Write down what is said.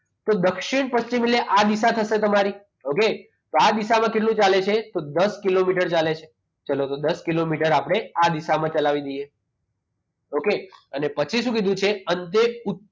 તો દક્ષિણ પશ્ચિમ એટલે આપણે આ દિશા તો તમારી okay તો આ દિશામાં ચાલે છે તો દસ કિલોમીટર ચાલે છે તો ચાલો તો દસ કિલોમીટર આપણે આ દિશામાં ચલાવી દઈએ okay તો પછી શું કીધું છે અંતે ઉત્તર